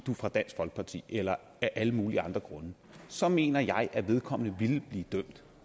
var fra dansk folkeparti eller af alle mulige andre grunde så mener jeg at vedkommende ville blive dømt